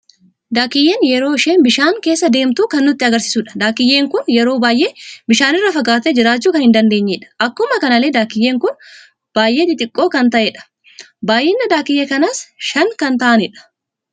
Daakiiyyeen yeroo isheen bishaan keessa deemtu kan nutti agarsiisudha. daakiiyyeen kun yeroo baay'ee bishaanirra fagatte jiraachuu kan hin dandeenyedha. Akkuma kanallee Daakiiyyeen kun baay'ee xixxiqoo kan taateedha. baay'inni daakiyyee kanaas shan kan ta'anidha?